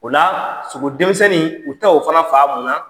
O la sogodenmisɛnnin u be taa o fana faa munna ?